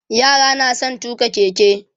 yara na da San tuƙa keke